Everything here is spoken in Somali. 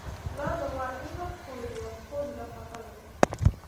Lo'da waa in la quudiyaa quud nafaqo leh.